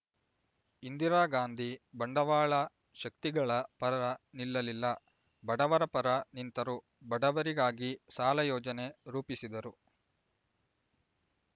ಇಂದಿರಾಗಾಂಧಿ ಬಂಡವಾಳ ಶಕ್ತಿಗಳ ಪರ ನಿಲ್ಲಲಿಲ್ಲ ಬಡವರ ಪರ ನಿಂತರು ಬಡವರಿಗಾಗಿ ಸಾಲ ಯೋಜನೆ ರೂಪಿಸಿದರು